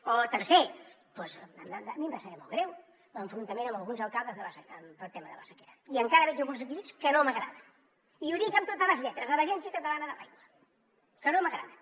o tercer doncs a mi em va saber molt greu l’enfrontament amb alguns alcaldes pel tema de la sequera i encara veig algunes actituds que no m’agraden i ho dic amb totes les lletres de l’agència catalana de l’aigua que no m’agraden